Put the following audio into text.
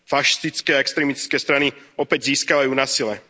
Fašistické a extrémistické strany opäť získavajú na sile.